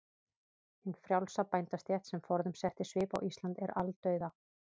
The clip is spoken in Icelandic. Hin frjálsa bændastétt, sem forðum setti svip á Ísland, er aldauða.